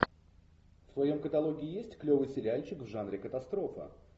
в твоем каталоге есть клевый сериальчик в жанре катастрофа